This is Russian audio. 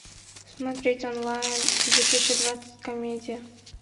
смотреть онлайн две тысячи двадцать комедия